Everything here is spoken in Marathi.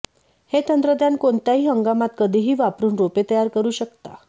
हे तंत्रज्ञान कोणत्याही हंगामात कधीही वापरून रोपे तयार करू शकता